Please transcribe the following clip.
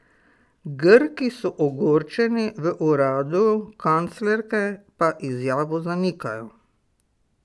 Grki so ogorčeni, v uradu kanclerke pa izjavo zanikajo.